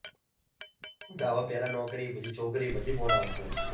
પેલા નોકરી પછી છોકરી પછી ફોન આવશે.